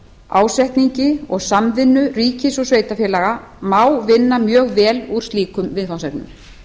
ásetningi og samvinnu ríkis og sveitarfélaga má vinna mjög vel úr slíkum viðfangsefnum